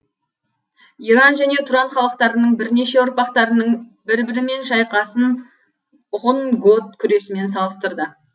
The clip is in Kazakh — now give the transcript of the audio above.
иран және тұран халықтарының бірнеше ұрпақтарының бір бірімен шайқасын ғұн гот күресімен салыстырды